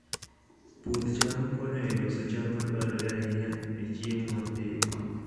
Puoth cham konyo e loso cham ma dwarore ahinya e chiemo mapile.